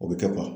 O bɛ kɛ